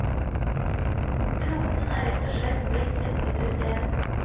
Kloden er rett og slett blitt et mindre sted.